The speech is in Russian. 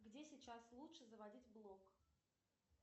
где сейчас лучше заводить блог